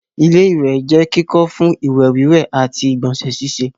ilé-ìwẹ̀ jẹ́ kíkọ́ fún ìwẹ̀ wíwẹ̀ àti ìgbọ̀nsẹ̀ síse